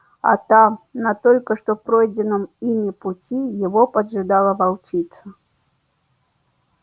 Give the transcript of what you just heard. а там на только что пройденном ими пути его поджидала волчица